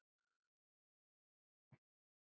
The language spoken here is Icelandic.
Glottu báðir og annar sagði